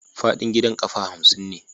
Faɗin gidan ƙafa hamsin ne.